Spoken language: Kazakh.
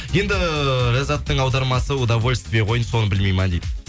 енді ләззаттың аудармасы удовольствие ғой соны білмей ма дейді